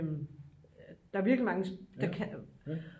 der er virkelig mange der kan